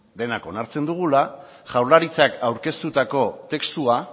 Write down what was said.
denak onartzen dugula jaurlaritzak aurkeztutako testua